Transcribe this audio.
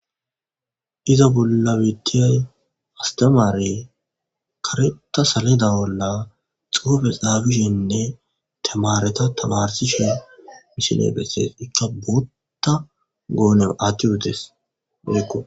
iza bolla bittiyay astemaare kareta salida bolla xuufe xaabishenne temareta tabarsishe misine bessees ikka bootta goone athtiuotes eekko